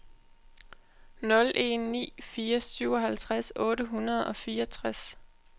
nul en ni fire syvoghalvtreds otte hundrede og fireogtres